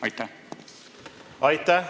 Aitäh!